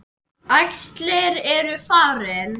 Æxlin eru farin.